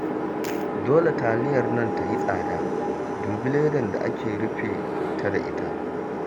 Dole taliyar nan ta yi tsada, dubi ledar da aka rufe ta da ita